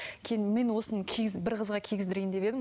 кейін мен осыны бір қызға кигіздірейін деп едім